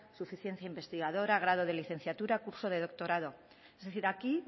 suficiencia investigadora grado de licenciatura curso de doctorado es decir aquí